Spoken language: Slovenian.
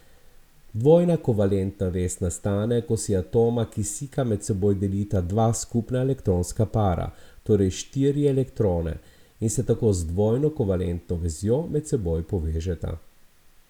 Dvojna kovalentna vez nastane, ko si atoma kisika med seboj delita dva skupna elektronska para, torej štiri elektrone, in se tako z dvojno kovalentno vezjo med seboj povežeta.